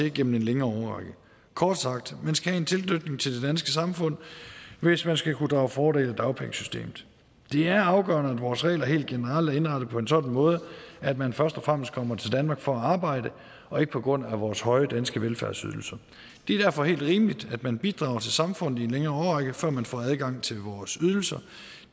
igennem en længere årrække kort sagt man skal have en tilknytning til det danske samfund hvis man skal kunne drage fordel af dagpengesystemet det er afgørende at vores regler helt generelt er indrettet på en sådan måde at man først og fremmest kommer til danmark for at arbejde og ikke på grund af vores høje danske velfærdsydelser det er derfor helt rimeligt at man bidrager til samfundet i en længere årrække før man får adgang til vores ydelser